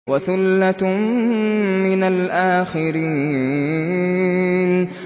وَثُلَّةٌ مِّنَ الْآخِرِينَ